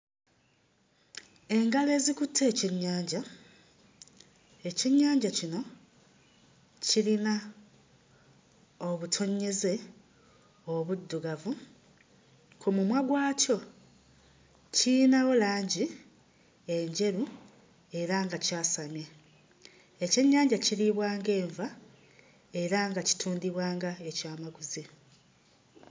Engalo ezikutte ekyennyanja, ekyennyanja kino kirina obutonnyeze obuddugavu. Ku mumwa gwakyo kiyinawo langi enjeru era nga kyasamye. Ekyennyanja kiriibwa ng'enva era nga kitundibwa nga ekyamaguzi.